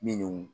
Minnu